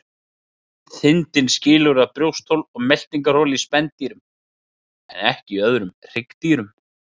Þindin skilur að brjósthol og meltingarhol í spendýrum en ekki í öðrum hryggdýrum.